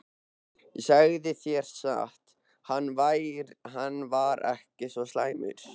Ég segi þér satt- hann var ekki svo slæmur.